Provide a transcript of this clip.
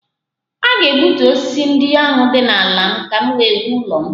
A ga- egbutu osisi ndị ahụ dị n' ala m ka m wee wuo ụlọ m.